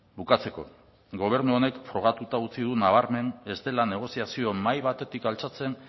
bukatzeko gobernu honek frogatuta utzi du nabarmen ez dela negoziazio mahai batetik altxatzen